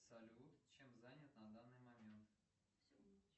салют чем занят на данный момент